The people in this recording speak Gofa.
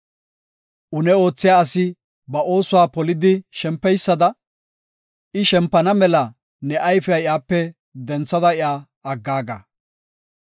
Une oothiya asi ba oosuwa polidi shempeysada, I shempana mela ne ayfiya iyape denthada iya aggaaga.